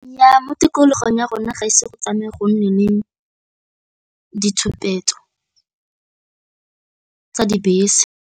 Nnyaa, mo tikologong ya rona ga ise go tsamaya go nne le ditshupetso tsa dibese